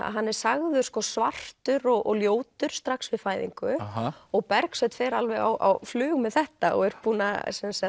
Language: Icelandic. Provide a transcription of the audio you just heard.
hann er sagður svartur og ljótur strax við fæðingu og Bergsveinn fer alveg á flug með þetta og er búinn að